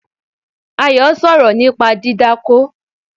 Ayo sọ̀rọ̀ nípa dídákó